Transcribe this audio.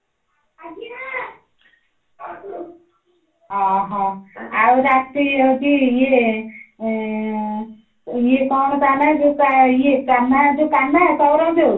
ଅହୋ ଆଉ ରାତି ହଉଛି ଇଏ ଆଁ ଇଏ କଣ ତା ନାଁ ଯୋଉ ଇଏ କାହ୍ନା କାହ୍ନା ସଉରା ଯୋଉ